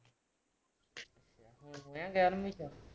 ਨਾ ਗਿਆਰਵੀਂ ਚ